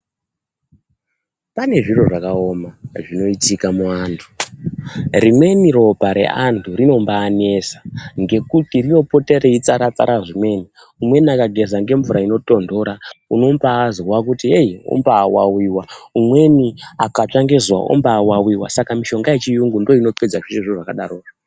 Pane zviro zvakaoma zvinoitika muantu rimweni ropa reantu rinomba anesa ngekuti rinopota reitsaratsara zvimweni umweni akageza ngemvura inotonhora unombazwa kuti eyi ombaawawiwa ,umweni akatsva ngezuwa ombawawiwa saka mishonga yechiyungu ndiyo inopedza zveshe zvakadarozvo.